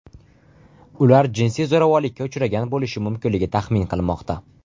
Ular jinsiy zo‘ravonlikka uchragan bo‘lishi mumkinligi taxmin qilinmoqda.